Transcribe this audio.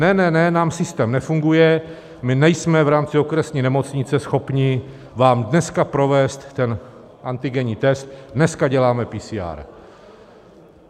Ne, ne, ne, nám systém nefunguje, my nejsme v rámci okresní nemocnice schopni vám dneska provést ten antigenní test, dneska děláme PCR.